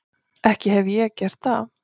Ekki hefi ég gert það.